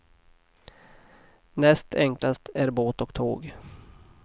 Näst enklast är båt och tåg.